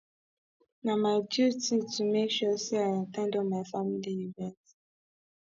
na my duty to make sure sey i at ten d all my family event